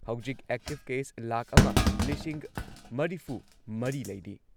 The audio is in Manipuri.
ꯍꯧꯖꯤꯛ ꯑꯦꯛꯇꯤꯚ ꯀꯦꯁ ꯂꯥꯈ ꯑꯝ ꯂꯤꯁꯤꯡ ꯃꯔꯤꯐꯨꯃꯔꯤ ꯂꯩꯔꯤ꯫